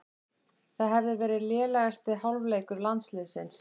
Það hefði verið lélegasti hálfleikur landsliðsins